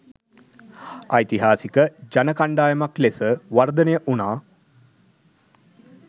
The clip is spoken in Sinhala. ඓතිහාසික ජන කණ්ඩායමක් ලෙස වර්ධනය වුණා